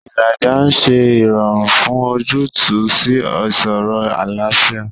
Ìlàjà ń ṣe ìrọ̀rùn fún ojútùú sí ìṣòro àlàáfíà.